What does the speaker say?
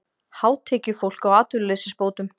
Hátekjufólk á atvinnuleysisbótum